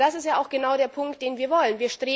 Denn das ist ja genau der Punkt, den wir wollen.